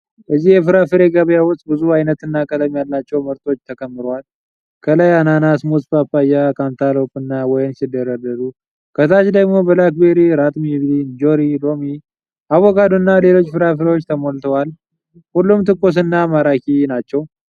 እዚህ የፍራፍሬ ገበያ ውስጥ ብዙ አይነትና ቀለም ያላቸው ምርቶች ተከምረዋል። ከላይ አናናስ፣ ሙዝ፣ ፓፓያ፣ ካንታሎፕ እና ወይን ሲደረደሩ፣ ታች ደግሞ ብላክቤሪ፣ ራትምቤሪ፣ እንጆሪ፣ ሎሚ፣ አቮካዶ እና ሌሎችም ፍራፍሬዎች ተሞልተዋል። ሁሉም ትኩስ እና ማራኪ ናቸው።